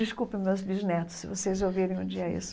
Desculpe meus bisnetos, se vocês ouvirem um dia isso.